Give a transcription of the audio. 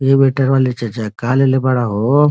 ऐ वेटर वाले चचा का लेले बाड़अ हो।